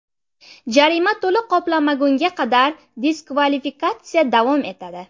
Jarima to‘liq qoplanmagunga qadar diskvalifikatsiya davom etadi.